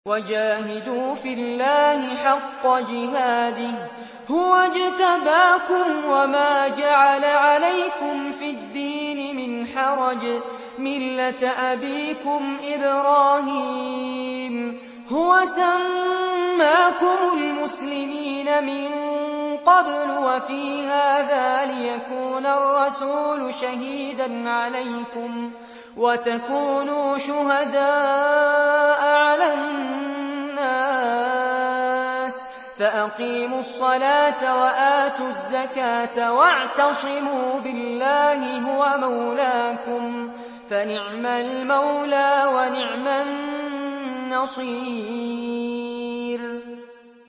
وَجَاهِدُوا فِي اللَّهِ حَقَّ جِهَادِهِ ۚ هُوَ اجْتَبَاكُمْ وَمَا جَعَلَ عَلَيْكُمْ فِي الدِّينِ مِنْ حَرَجٍ ۚ مِّلَّةَ أَبِيكُمْ إِبْرَاهِيمَ ۚ هُوَ سَمَّاكُمُ الْمُسْلِمِينَ مِن قَبْلُ وَفِي هَٰذَا لِيَكُونَ الرَّسُولُ شَهِيدًا عَلَيْكُمْ وَتَكُونُوا شُهَدَاءَ عَلَى النَّاسِ ۚ فَأَقِيمُوا الصَّلَاةَ وَآتُوا الزَّكَاةَ وَاعْتَصِمُوا بِاللَّهِ هُوَ مَوْلَاكُمْ ۖ فَنِعْمَ الْمَوْلَىٰ وَنِعْمَ النَّصِيرُ